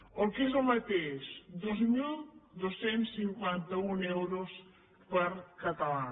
o el que és el mateix dos mil dos cents i cinquanta un euros per català